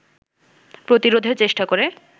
প্রতিরোধের চেষ্টা করে